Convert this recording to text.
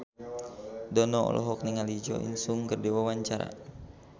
Dono olohok ningali Jo In Sung keur diwawancara